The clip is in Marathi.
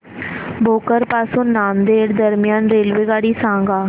भोकर पासून नांदेड दरम्यान रेल्वेगाडी सांगा